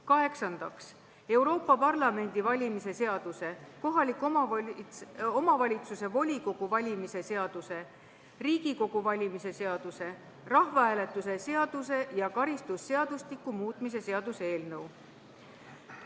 Kaheksandaks, Euroopa Parlamendi valimise seaduse, kohaliku omavalitsuse volikogu valimise seaduse, Riigikogu valimise seaduse, rahvahääletuse seaduse ja karistusseadustiku muutmise seaduse eelnõu.